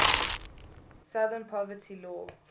southern poverty law